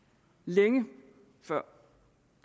jamen så